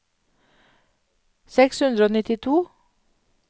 seks hundre og nittito